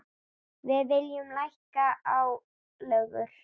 Við viljum lækka álögur.